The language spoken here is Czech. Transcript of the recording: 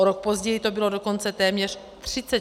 O rok později to bylo dokonce téměř 34 miliard.